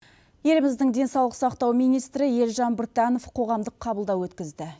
еліміздің денсаулық сақтау министрі елжан біртанов қоғамдық қабылдау өткізді